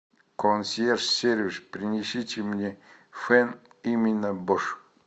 консьерж сервис принесите мне фен именно бош